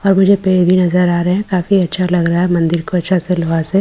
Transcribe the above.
और मुझे पेड़ भी नजर आ रहा हैं काफी अच्छा लग रहा हैं मंदिर को अच्छा सिलवासे --